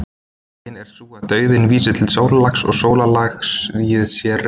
hin er sú að dauðinn vísi til sólarlags og sólarlagið sé rautt